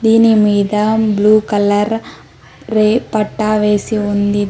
దీని మీద blue colour రేపట్టా వేసి ఉంది.